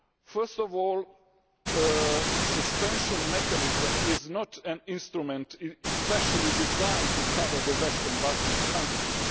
First of all, the suspension mechanism is not an instrument especially designed to cover the Western Balkan countries.